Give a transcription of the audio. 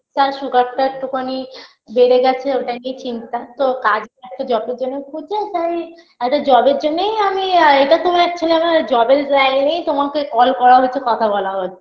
তার sugar -টা একটু খানি বেড়ে গেছে ওটা নিয়ে চিন্তা তো কাজ একটা job -এর জন্য খুঁজছে তাই অ্যা একটা job -এর জন্যেই আমি এটা তোমার actually আমার job -এর line -এই তোমাকে call করা হয়েছে কথা বলা হ~